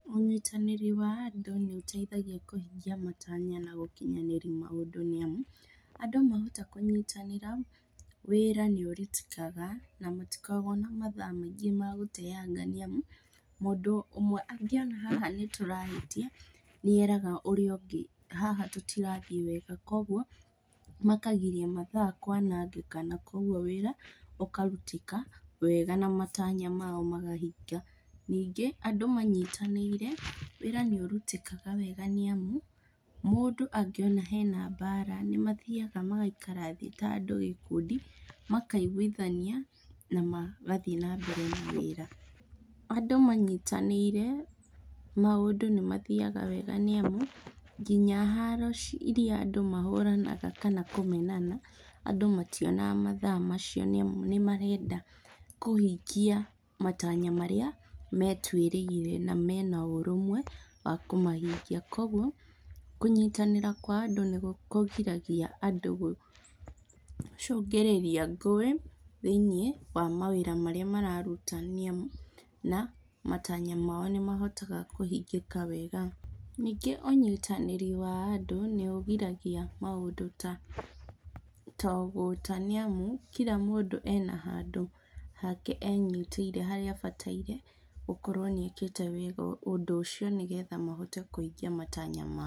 Ũnyitanĩri wa andũ nĩũteithagia kũhingia matanya na gũkinyanĩria maũndũ nĩamu, andũ mahota kũnyitanĩra, wĩra nĩũrutĩkaga na matikoragwo na mathaa maingĩ ma gũteanga nĩamu, mũndũ ũmwe angĩona haha nĩtũrahĩtia nĩeraga ũrĩa ũngĩ, haha tũtirathiĩ wega, kuoguo, makagiria mathaa kwanangĩka na kuoguo wĩra ũkarutĩka wega na matanya mao makahinga. Ningĩ, andũ manyitanĩire, wĩra nĩũrutĩkaga wega nĩamu, mũndũ angĩona hena mbara nĩmathiaga magaikara thĩ ta andũ gĩkundi, makaigwithania na magathiĩ na mbere na wĩra. Andũ manyitanĩire maũndũ nĩmathiaga wega nĩ amu, kinya haro iria andũ mahũranaga kana kũmenana, andũ mationaga mathaa macio nĩamu nĩmarenda kũhingia matanya marĩa metuĩrĩire na mena ũrũmwe wa kũmahingia kuoguo, kũnyitanĩra kwa andũ nĩkũgiragia andũ gũcũngĩrĩria ngũĩ thĩiniĩ wa mawĩra marĩa mararuta nĩamu na matanya mao nĩmahotaga kũhingĩka wega. Ningĩ ũnyitanĩri wa andũ nĩũgiragia maũndũ ta ta ũgũta nĩ amu kira mũndũ ena handũ hake enyitĩire harĩa abataire gũkorwo nĩekĩte wega ũndũ ũcio nĩgetha mahote kũhingia matanya mao.